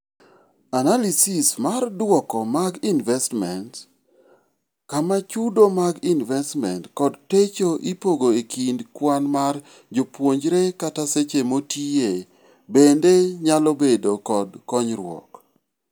Analysis mar duoko mag investments, kama chudo mag investments kod techo ipogo ekind kwan mar jopuonjre kata seche motiiye bende nyalobedo kod konyruok.